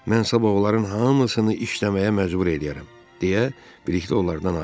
Mən sabah onların hamısını işləməyə məcbur eləyərəm," deyə Bilikli onlardan ayrıldı.